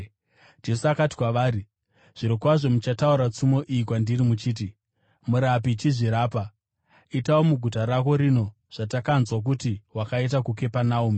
Jesu akati kwavari, “Zvirokwazvo muchataura tsumo iyi kwandiri muchiti: ‘Murapi, chizvirapa! Itawo muguta rako rino zvatakanzwa kuti wakaita muKapenaume.’ ”